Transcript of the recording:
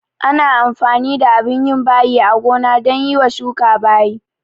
Ana amfani da abin yin bayi a gona dan yiwa shuka bayi